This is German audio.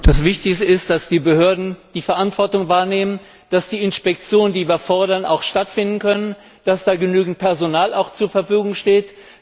Das Wichtigste ist, dass die Behörden die Verantwortung wahrnehmen, dass die Inspektionen, die wir fordern, auch stattfinden können, dass da auch genügend Personal zur Verfügung steht.